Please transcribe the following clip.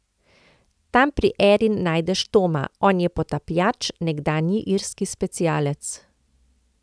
Tam pri Erin najdeš Toma, on je potapljač, nekdanji irski specialec.